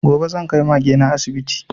Gobe zan kai Mage na asibiti